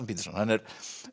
Peterson hann er